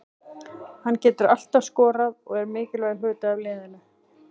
Hann getur alltaf skorað og er mikilvægur hluti af liðinu.